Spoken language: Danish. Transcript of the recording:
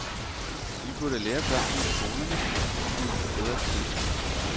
Vi burde lære børnene i skolerne at give sig bedre tid.